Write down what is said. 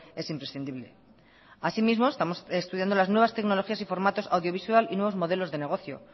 es imprescindible así mismo estamos estudiando las nuevas tecnologías y formatos audiovisual y nuevos modelos de negocio